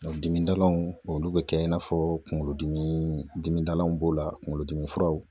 A dimidalanw olu be kɛ i n'a fɔ kungolodimi dimidalanw b'o la kungolodimi furaw